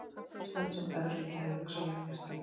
Ísland sem evruríki hefðu hugsanlega gert það líka.